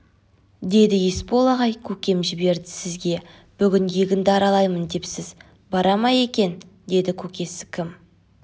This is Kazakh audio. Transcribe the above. деді есбол ағай көкем жіберді сізге бүгін егінді аралаймын депсіз бара ма екен деді көкесі кім